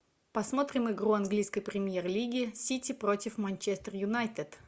посмотрим игру английской премьер лиги сити против манчестер юнайтед